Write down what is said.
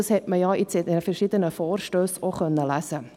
Das konnte man in den verschiedenen Vorstössen auch lesen.